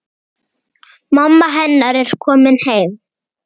Mamma hennar er komin heim.